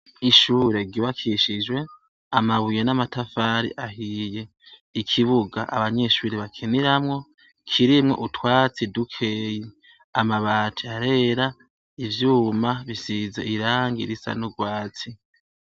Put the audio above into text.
Ishure ry'ubakishijwe amabuye n'amatafari ahiye, ikibuga abanyeshure bakiniramwo kirimwo utwatsi dukeya, amabati arera, ivyuma bisize irangi risa n'urwatsi.